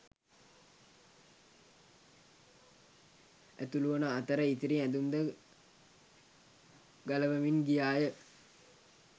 ඇතුළු වන අතර ඉතිරි ඇඳුම් ද ගලවමින් ගියා ය.